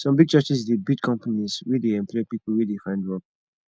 some big churches dey build companies wey dey employ pipo wey dey find work